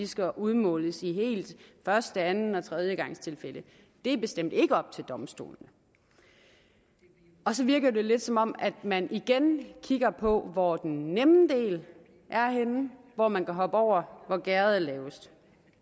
skal udmåles i første anden og tredjegangstilfælde det er bestemt ikke op til domstolene og så virker det lidt som om man igen kigger på hvor den nemme del er henne hvor man kan hoppe over hvor gærdet er lavest